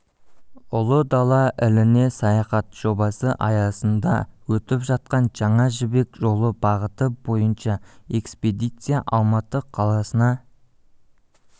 ұлы дала іліне саяхат жобасы аясында өтіп жатқан жаңа жібек жолы бағыты бойынша экспедиция алматы қаласына